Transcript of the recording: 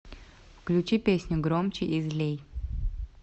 включи песню громче и злей